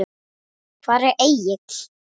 Hvar er Egill?